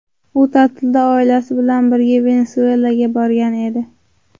U ta’tilda oilasi bilan birga Venesuelaga borgan edi.